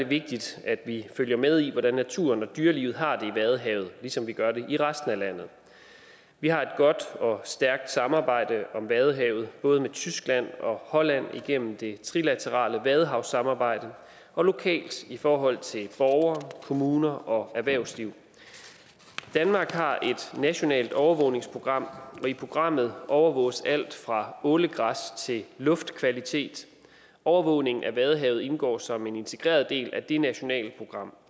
vigtigt at vi følger med i hvordan naturen og dyrelivet har det i vadehavet ligesom vi gør det i resten af landet vi har et godt og stærkt samarbejde om vadehavet både med tyskland og holland gennem det trilaterale vadehavssamarbejde og lokalt i forhold til borgere kommuner og erhvervsliv danmark har et nationalt overvågningsprogram og i programmet overvåges alt fra ålegræs til luftkvalitet overvågningen af vadehavet indgår som en integreret del af det nationale program